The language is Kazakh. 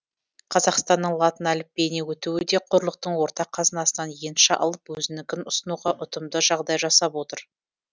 қазақстанның латын әліпбиіне өтуі де құрлықтың ортақ қазынасынан енші алып өзінікін ұсынуға ұтымды жағдай жасап отыр